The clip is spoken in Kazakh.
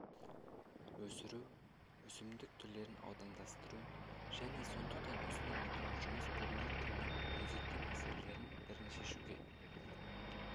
өсіру өсімдік түрлерін аудандастыру және сондықтан ұсынып отырған жұмыс бүгінгі күннің өзекті мәселелерінің бірін шешуге